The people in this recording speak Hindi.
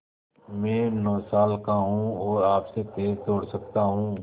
मैं नौ साल का हूँ और आपसे तेज़ दौड़ सकता हूँ